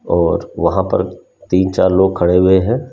और वहां पर तीन-चार लोग खड़े हुए हैं।